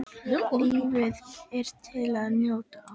Lífið er til að njóta.